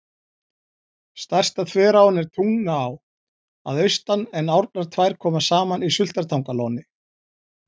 Stærsta þveráin er Tungnaá að austan en árnar tvær koma saman í Sultartangalóni.